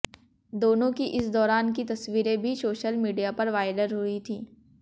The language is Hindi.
दोनों की इस दाैरान की तस्वीरें भी सोशल मीडिया पर वायरल हुईं थी